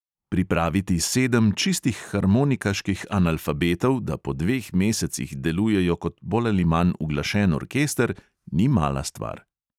Pripraviti sedem čistih harmonikaških analfabetov, da po dveh mesecih delujejo kot bolj ali manj uglašen orkester, ni mala stvar.